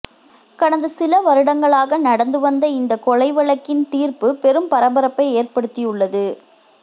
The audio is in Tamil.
கடந்த சில வருடங்களாக நடந்து வந்த இந்த கொலை வழக்கின் தீர்ப்பு பெரும் பரபரப்பை ஏற்படுத்தியுள்ளது